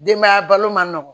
Denbaya balo ma nɔgɔn